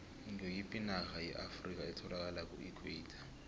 ngoyiphi inarha yeafrikha etholakala kuequator